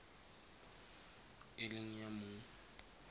e leng ya mong